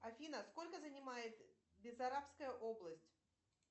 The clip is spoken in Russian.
афина сколько занимает бессарабская область